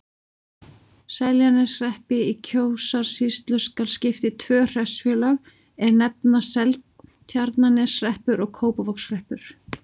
Seltjarnarneshreppi í Kjósarsýslu skal skipt í tvö hreppsfélög, er nefnast Seltjarnarneshreppur og Kópavogshreppur.